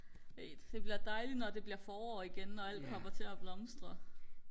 det bliver dejligt når det bliver forår igen og alt kommer til og blomstre